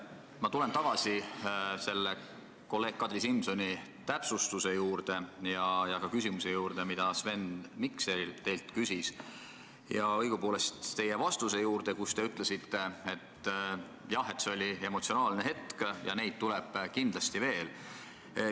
Ma tulen tagasi kolleeg Kadri Simsoni täpsustuse juurde ja ka küsimuse juurde, mida Sven Mikser teilt küsis, õigupoolest teie vastuse juurde, kus te ütlesite, et jah, et see oli emotsionaalne hetk ja neid tuleb kindlasti veel.